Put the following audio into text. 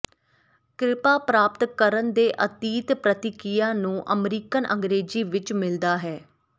ਕ੍ਰਿਪਾ ਪ੍ਰਾਪਤ ਕਰਨ ਦੇ ਅਤੀਤ ਪ੍ਰਤੀਕ੍ਰਿਆ ਨੂੰ ਅਮਰੀਕਨ ਅੰਗਰੇਜ਼ੀ ਵਿੱਚ ਮਿਲਦਾ ਹੈ